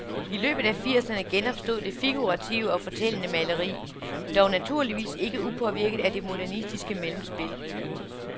I løbet af firserne genopstod det figurative og fortællende maleri, dog naturligvis ikke upåvirket af det modernistiske mellemspil.